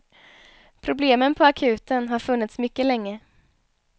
Problemen på akuten har funnits mycket länge.